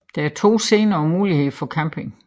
Der er to scener og mulighed for camping